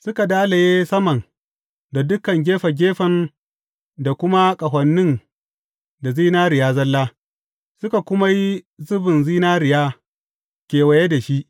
Suka dalaye saman da dukan gefe gefen da kuma ƙahonin da zinariya zalla, suka kuma yi zubin zinariya kewaye da shi.